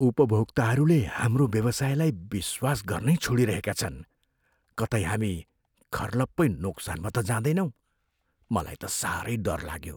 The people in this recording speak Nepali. उपभोक्ताहरूले हाम्रो व्यवसायलाई विश्वास गर्नै छोडिरहेका छन्। कतै हामी खर्लप्पै नोक्सानमा त जाँदैनौँ? मलाई त साह्रै डर लाग्यो।